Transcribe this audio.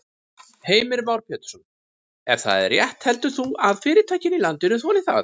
Heimir Már Pétursson: Ef það er rétt heldur þú að fyrirtækin í landinu þoli það?